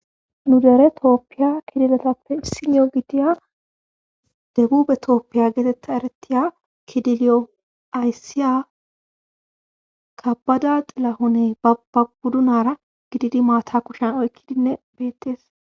Nu dere tooppiya kidiletappe isinio gidiya debube tooppiya geetetta eretiya kidiliyo ayssiya kabada xilahone bababuddunara gididi maata kushen oykkidinne bettees.